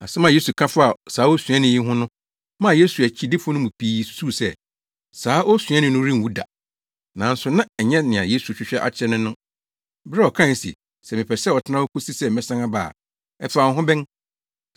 Asɛm a Yesu ka faa saa osuani yi ho no maa Yesu akyidifo no mu pii susuw sɛ, saa osuani no renwu da. Nanso na ɛnyɛ nea Yesu hwehwɛ akyerɛ ne no, bere a ɔkae se, “Sɛ mepɛ sɛ ɔtena hɔ kosi sɛ mɛsan aba a, ɛfa wo ho bɛn?”